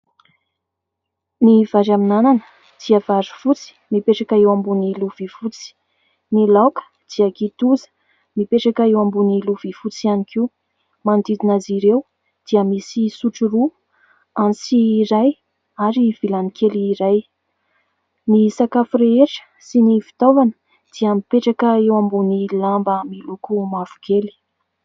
Ny vary amin'anana dia vary fotsy mipetraka eo ambony lovia fotsy. Ny laoka dia kitoza, mipetraka eo ambony lovia fotsy ihany koa. Manodidina azy ireo dia misy sotro roa, antsy iray ary vilany kely iray. Ny sakafo rehetra sy ny fitaovana dia mipetraka eo ambony lamba miloko mavokely.